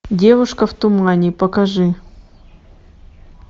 девушка в тумане покажи